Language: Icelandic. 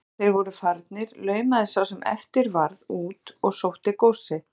Þegar þeir voru farnir laumaðist sá sem eftir varð út og sótti góssið.